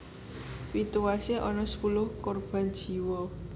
Pituwasé ana sepuluh korban jiwa